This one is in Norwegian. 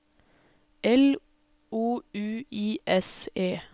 L O U I S E